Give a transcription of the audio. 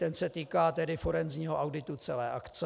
Ten se týká forenzního auditu celé akce.